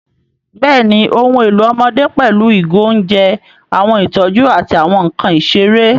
Bẹ́ẹ̀ni, ohun èlò ọmọdé pẹ̀lú ìgò oúnjẹ, àwọn ìtọ́jú, àti àwọn nkan ìṣeré.